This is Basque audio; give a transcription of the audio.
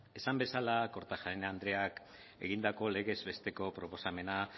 ezan bezala kortajarena andreak egindako legez besteko proposamena